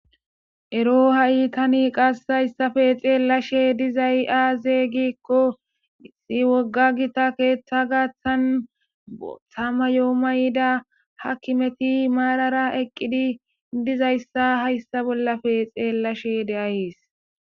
Ero tani ha'a qasse haysape xeellashe dizay aaze gizayssa gidiko,wogga gita keetha garsan booththa mayo mayida aakimeti maarara eqidi dizaysa be'ays.